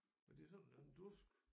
Men det er sådan en dusk